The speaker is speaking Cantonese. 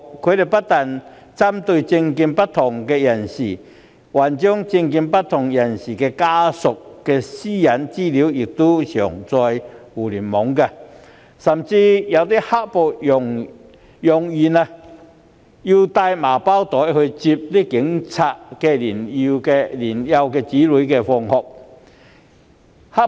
他們不但針對政見不同的人士，更將其家屬的個人資料上載互聯網，甚至揚言要帶同麻包袋前往接警務人員的年幼子女放學。